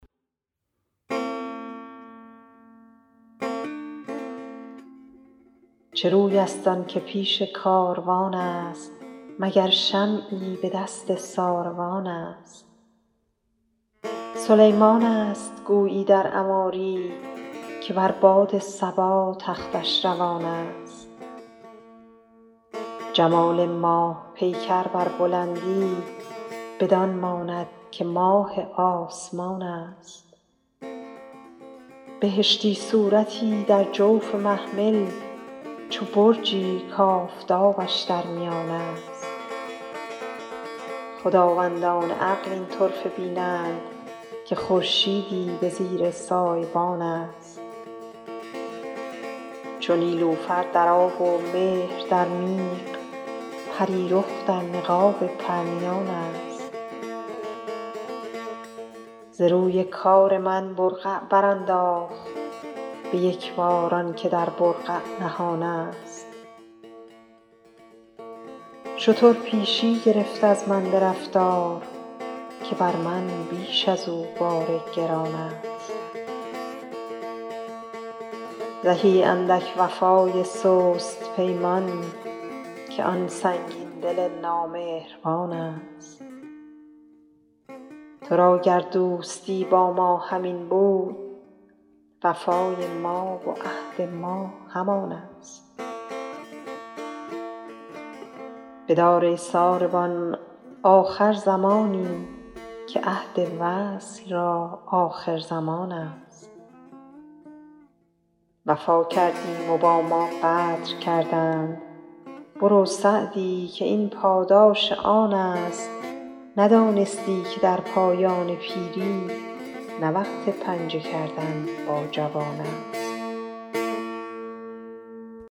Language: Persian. چه روی است آن که پیش کاروان است مگر شمعی به دست ساروان است سلیمان است گویی در عماری که بر باد صبا تختش روان است جمال ماه پیکر بر بلندی بدان ماند که ماه آسمان است بهشتی صورتی در جوف محمل چو برجی کآفتابش در میان است خداوندان عقل این طرفه بینند که خورشیدی به زیر سایبان است چو نیلوفر در آب و مهر در میغ پری رخ در نقاب پرنیان است ز روی کار من برقع برانداخت به یک بار آن که در برقع نهان است شتر پیشی گرفت از من به رفتار که بر من بیش از او بار گران است زهی اندک وفای سست پیمان که آن سنگین دل نامهربان است تو را گر دوستی با ما همین بود وفای ما و عهد ما همان است بدار ای ساربان آخر زمانی که عهد وصل را آخرزمان است وفا کردیم و با ما غدر کردند برو سعدی که این پاداش آن است ندانستی که در پایان پیری نه وقت پنجه کردن با جوان است